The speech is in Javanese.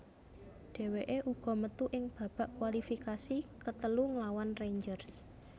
Dheweke uga metu ing babak kualifikasi ketelu nglawan Rangers